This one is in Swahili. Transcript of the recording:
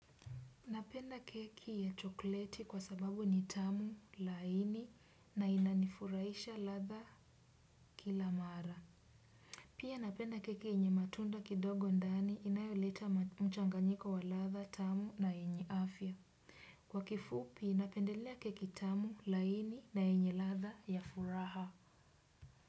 Napenda keki ya chokleti kwa sababu ni tamu laini na inanifurahisha ladha kila mara. Pia napenda keki yenye matunda kidogo ndani inayoleta mchanganiko wa ladha tamu na yenye afya. Kwa kifupi napendelea keki tamu laini na yenye ladha ya furaha.